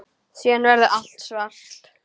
Síðan verður allt svart.